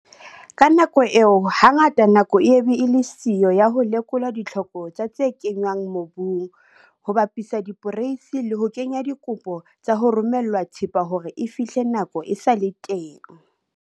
Ka nako eo, hangata nako e ye be e le siyo ya ho lekola ditlhoko tsa tse kenngwang mobung, ho bapisa diporeisi le ho kenya dikopo tsa ho romellwa thepa hore e fihle nako e sa le teng.